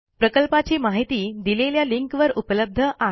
प्रकल्पाची माहिती दिलेल्या लिंकवर उपलब्ध आहे